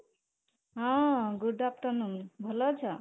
ହଁ, good afternoon ଭଲ ଅଛ?